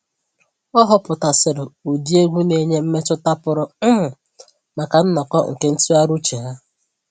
Ọ họpụtasịrị ụdị egwu na-enye mmetụta pụrụ um maka nnọkọ nke ntụgharị uche ha